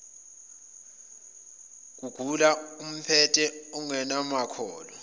kugula okumphethe ungabowakhohlwa